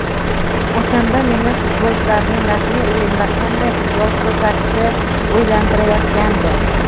O‘shanda meni futbolchilarning rasmiy o‘yinda qanday futbol ko‘rsatishi o‘ylantirayotgandi.